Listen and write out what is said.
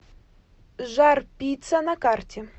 жар пицца на карте